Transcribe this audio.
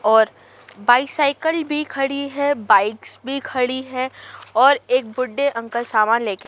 और बाईसाईकिल भी खड़ी है बाइक्स भी खड़ी है और एक बुड्ढे अंकल सामान ले के--